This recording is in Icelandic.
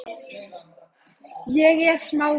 En það er ekkert erfitt er það?